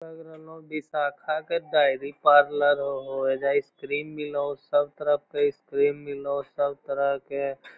लग रहलो हेय विशाखा के डेयरी पार्लर होअ ऐजा आइसक्रीम मिलो हेय सब तरह के आइसक्रीम मिलो हेय सब तरह के।